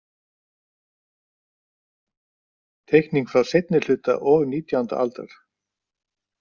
Teikning frá seinni hluta og nítjánda aldar.